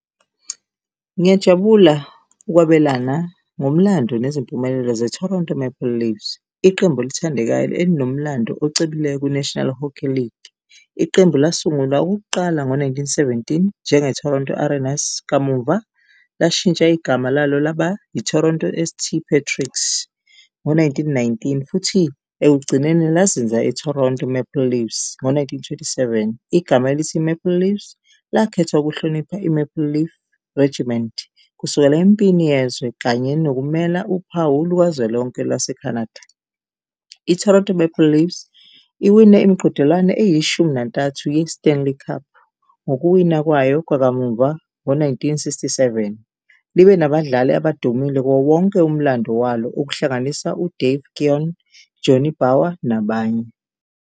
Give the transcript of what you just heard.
Ngiyajabula ukwabelana ngomlando nezimpumelelo ze-Toronto Maple Leafs, iqembu elithandekayo elinomlando ocebileyo kwi-National Hockey League. Iqembu lasungulwa okokuqala ngo-nineteen-seventeen njenge-Toronto Arenas, kamuva lashintsha igama lalo laba i-Toronto S_T Patricks ngo-nineteen-nineteen futhi ekugcineni lazenza i-Toronto Maple Leafs ngo-nineteen twenty-seven. Igama elithi Maple Leafs lakhethwa ukuhlonipha i-Maple Leaf Regiment kusukela empini yezwe kanye nokumela uphawu lukazwelonke lwase-Canada. I-Toronto Maple Leafs iwine imiqhudelwano eyishumi nantathu ye-Stanley Cup ngokuwina kwayo kwakamuva ngo-nineteen sixty-seven. Libe nabadlali abadumile kuwo wonke umlando walo okuhlanganisa u-Dave Keon, Johnny Bower nabanye.